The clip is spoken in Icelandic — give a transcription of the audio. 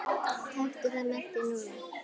Taktu það með þér núna!